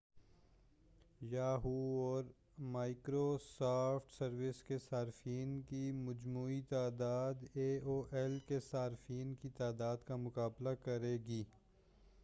Yahoo اور Microsoft service کے صارفین کی مجموعی تعداد اے او ایل کے صارفین کی تعداد کا مقابلہ کرے گی